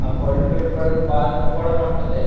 ఆ బళ్ళు పెట్టుకోడానికి పార్కింగ్ కూడా ఉంటాది.